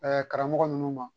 karamɔgɔ ninnu ma